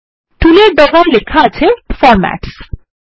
টুলের ডগায় লেখা আছে ফরম্যাটস